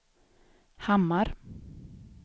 Hammar